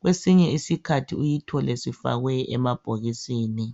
kwesinye isikhathi uyithole sifakwe emabhokisini.